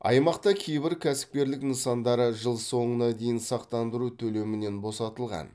аймақта кейбір кәсіпкерлік нысандары жыл соңына дейін сақтандыру төлемінен босатылған